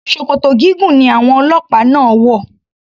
Ṣòkòtò gígùn ni àwọn ọlọ́pàá náà wò.